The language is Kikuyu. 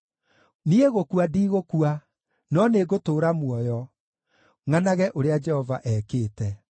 Niĩ gũkua ndigũkua, no nĩngũtũũra muoyo, ngʼanage ũrĩa Jehova ekĩte.